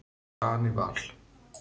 Danival